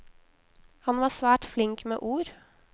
Han var svært flink med ord.